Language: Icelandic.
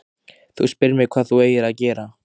Þú spyrð mig hvað þú eigir að gera.